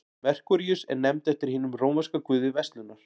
merkúríus er nefnd eftir hinum rómverska guði verslunar